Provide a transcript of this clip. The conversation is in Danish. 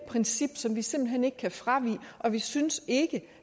princip som vi simpelt hen ikke kan fravige vi synes ikke